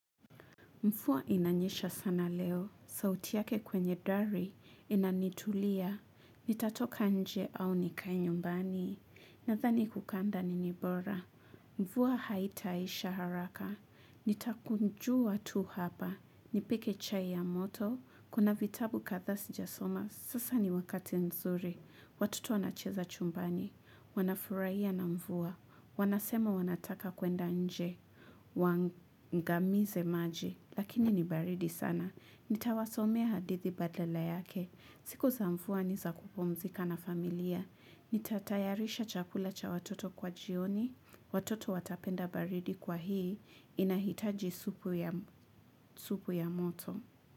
Mvua inanyesha sana leo, sauti yake kwenye dari, inanitulia, nitatoka nje au nikae nyumbani, nadhani kukaa ndani ni bora. Mvua haitaisha haraka, nitakunjua tu hapa, nipike chai ya moto, kuna vitabu kadhaa si jasoma, sasa ni wakati nzuri, watoto wanacheza chumbani, wanafurahia na mvua, wanasema wanataka kwenda nje, waangamize maji. Lakini ni baridi sana. Nitawasomea hadithi badala yake. Siku za mvua ni za kupumzika na familia. Nitatayarisha chakula cha watoto kwa jioni. Watoto watapenda baridi kwa hii. Inahitaji supu ya moto.